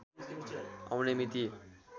आउने मिति